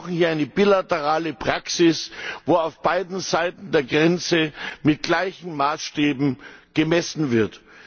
Wir brauchen hier eine bilaterale Praxis, wo auf beiden Seiten der Grenze mit gleichen Maßstäben gemessen wird.